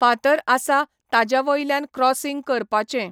फातर आसा ताजे वयल्यान क्रॉसींग करपाचें.